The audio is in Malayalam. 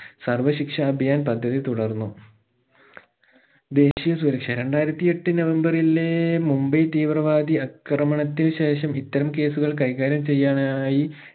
സർവ്വ ശിക്ഷ അഭയാൻ പദ്ധതി തുടർന്നു ദേശിയ സുരക്ഷ രണ്ടായിരത്തി എട്ട് നവംബറിലേ മുംബൈ തീവ്രവാദി ആക്രമണത്തിൽ ശേഷം ഇത്തരം case കൾ കൈകാര്യം ചെയ്യാനായി